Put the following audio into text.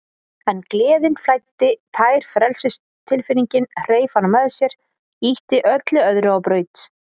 En gleðin flæddi, tær frelsistilfinningin, hreif hana með sér, ýtti öllu öðru á braut.